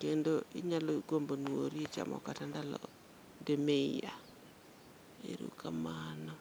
kendo inyalo gombo nuori chamo kata ndalo dimiya, erokamano.